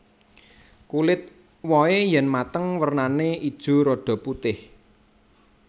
Kulit wohé yèn mateng wernané ijo rada putih